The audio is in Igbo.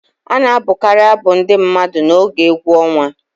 A na-abụkarị abụ ndị mmadụ n'oge egwu ọnwa